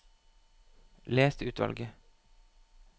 Les utvalget